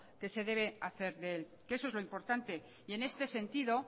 que se debe hacer de él que eso es lo importante y en este sentido